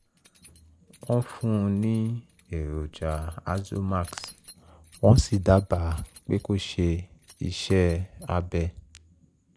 wọ́n fún un ní èròjà azomax wọ́n sì dábàá pé kó ṣe iṣẹ́ abẹ